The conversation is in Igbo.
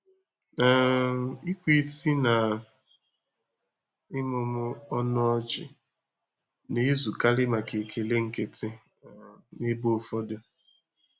um Ikwe isi na ịmụmụ ọnụ ọchị na-ezukarị maka ekele nkịtị um n'ebe ụfọdụ.